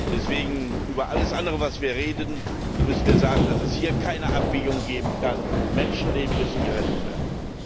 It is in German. Deswegen Bei allem anderen, über das wir reden, müssen wir sagen, dass es hier keine Abwägung geben kann. Menschenleben müssen gerettet werden.